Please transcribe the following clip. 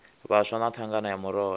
vhaswa na thangana ya murole